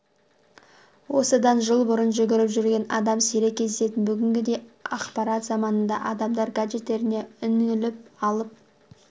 осыдан жыл бұрын жүгіріп жүрген адам сирек кездесетін бүгінгідей ақпарат заманында адамдар гаджеттеріне үңіліп алып